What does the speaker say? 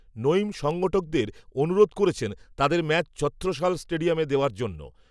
নঈম সংগঠকদের, অনুরোধ, করেছেন, তাদের ম্যাচ, ছত্রসাল স্টেডিয়ামে দেওয়ার জন্য